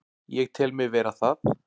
Ég tel mig vera það.